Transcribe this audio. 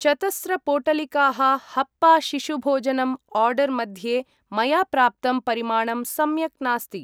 चतस्र पोटलिकाः हप्पा शिशुभोजनम् आर्डर् मध्ये मया प्राप्तं परिमाणं सम्यक् नास्ति।